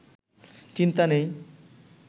চিন্তা নেই